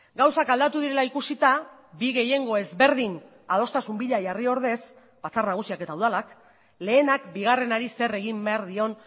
gauzak aldatu direla ikusita bi gehiengo ezberdin adostasun bila jarri ordez batzar nagusiak eta udalak lehenak bigarrenari zer egin behar dion